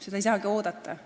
Seda ei saagi oodata.